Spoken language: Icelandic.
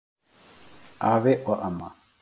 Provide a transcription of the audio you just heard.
Afi og amma.